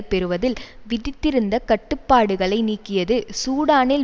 பெறுவதில் விதித்திருந்த கட்டுப்பாடுகளை நீக்கியது சூடானில்